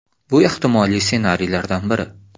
– Bu ehtimoliy ssenariylardan biri.